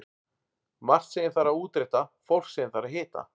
Margt sem ég þarf að útrétta, fólk sem ég þarf að hitta.